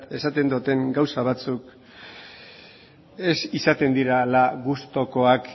esaten doten gauza batzuk ez izaten direla gustukoak